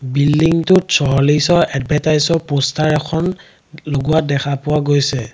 বিল্ডিংটোত এডভাৰ্টাইজ ৰ প'ষ্টাৰ এখন লগোৱা দেখা পোৱা গৈছে।